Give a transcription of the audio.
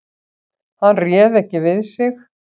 Hann réð ekki við sig.